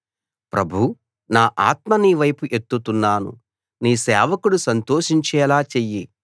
ప్రభూ నా ఆత్మ నీ వైపు ఎత్తుతున్నాను నీ సేవకుడు సంతోషించేలా చెయ్యి